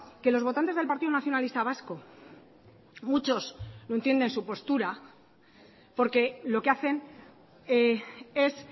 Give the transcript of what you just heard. que los votantes del partido nacionalista vasco muchos no entienden su postura porque lo que hacen es